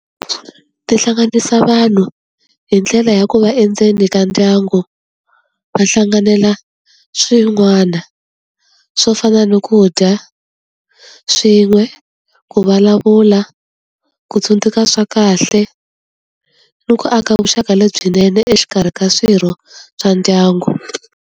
Ti hlanganisa vanhu hi ndlela ya ku va endzeni ka ndyangu, va hlanganela swin'wana swo fana ni ku dya swin'we, ku vulavula, ku tsundzuka swa kahle, ni ku aka vuxaka lebyinene exikarhi ka swirho swa ndyangu.